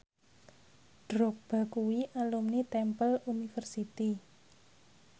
Drogba kuwi alumni Temple University